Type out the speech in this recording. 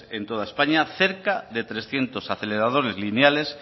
en toda españa cerca de trescientos aceleradores lineales